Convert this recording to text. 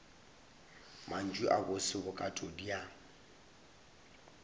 mantšu a bose bokatodi ya